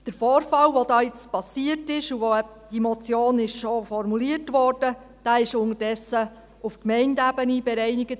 Der Vorfall, der hier nun geschehen ist und aufgrund dessen diese Motion formuliert wurde, wurde inzwischen auf Gemeindeebene bereinigt.